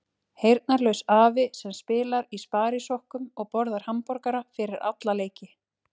Heyrnarlaus afi sem spilar í sparisokkum og borðar hamborgara fyrir alla leiki.